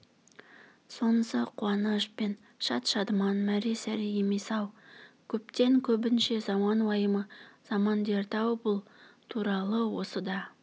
сонысы қуаныш пен шат-шадыман мәре-сәре емес-ау көптен көбінше заман уайымы заман дерті-ау бұл туралы да осы